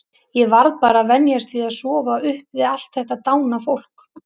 Ég varð bara að venjast því að sofa upp við allt þetta dána fólk.